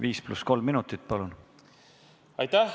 Viis pluss kolm minutit, palun!